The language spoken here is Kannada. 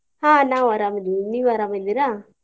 ಹ್ಮ್ ನಾವ್ ಅರಾಮ್ ಅದಿವಿ ನೀವ್ ಅರಾಮ್ ಅದಿರಾ?